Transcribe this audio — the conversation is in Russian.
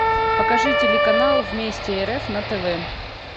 покажи телеканал вместе рф на тв